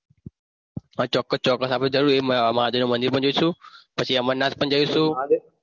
હા ચોક્કસ આપણી જરૂરથી એ મહાદેવના મંદિરમાં જઈશું પછી અમરનાથમાં જઈશું.